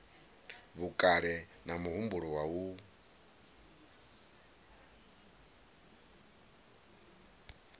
vhukale na muhumbulo wa u